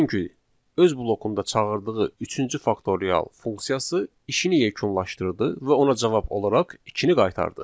Çünki öz blokunda çağırdığı üçüncü faktorial funksiyası işini yekunlaşdırdı və ona cavab olaraq ikini qaytardı.